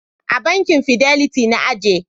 A bankin Fidiliti na aje.